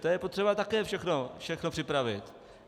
To je potřeba také všechno připravit.